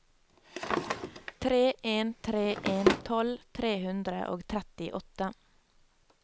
tre en tre en tolv tre hundre og trettiåtte